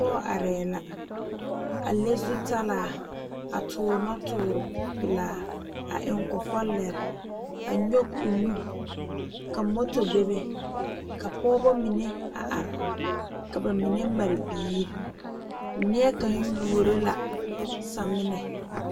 Pɔge are la a le zutalaa a tuure noɔ tuure pelaa a eŋ kɔkɔlɛɛ a nyoŋ o nu ka moto bebe ka pɔgeba mine a are ka ba mine pare biiri nie kaŋ yuoro la samina.